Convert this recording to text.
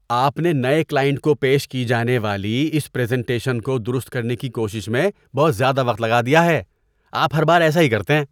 آپ نے نئے کلائنٹ کو پیش کی جانے والی اس پریزنٹیشن کو درست کرنے کی کوشش میں بہت زیادہ وقت لگا دیا ہے۔ آپ ہر بار ایسا ہی کرتے ہیں۔